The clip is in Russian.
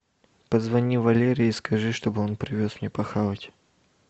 позвони валере и скажи чтобы он привез мне похавать